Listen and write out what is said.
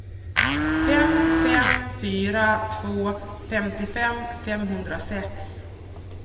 fem fem fyra två femtiofem femhundrasex